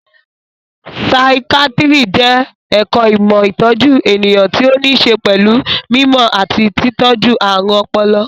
Saikíátíri jẹ́ ẹ̀ka ìmọ̀ ìtọ́jú ènìyàn tí ó ní ṣe pẹ̀lú mí mọ̀ àti tí tọ́jú ààrùn ọpọlọ